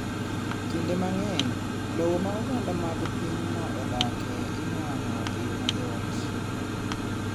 Kinde mang’eny, lowo ma oganda mag pinyno odake ilwalo e yo mayot.